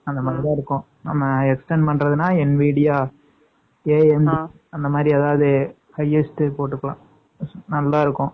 அந்த மாதிரிதான் இருக்கும். நம்ம extend பண்றதுன்னா, என் video 24 . AMR , அந்த மாரி, ஏதாவது, highest போட்டுக்கலாம். நல்லா இருக்கும்